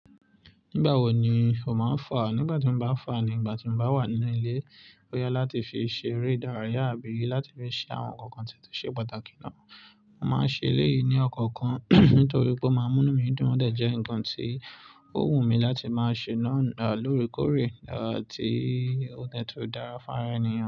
Nígbà wo ni o máa ń fà? Nígbà tí mo bá fà ni ìgbà tí mo bá wà nínú ilé boya láti fi ṣe eré ìdárayá àbí láti fi ṣe àwọn nǹkan tí ó ṣe pàtàkì náà. Mo máa ń ṣe eléyìí ní ọ̀kọ̀ọ̀kan nítorí pé ó máa ń mú inu mí dún, ó dẹ̀ jẹ́ nǹkan tí ó wù mí láti máa ṣe náà lóore kóòrè tí ó dẹ̀ tun dára fún ara ènìyàn.